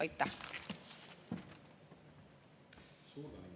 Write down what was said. Aitäh!